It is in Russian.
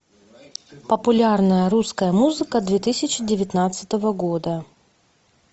популярная русская музыка две тысячи девятнадцатого года